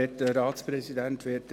Kommissionspräsident der GSoK.